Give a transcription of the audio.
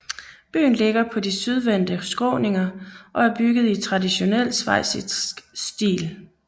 Byen ligger på de sydvendte skråninger og er bygget i traditionel schweizisk stil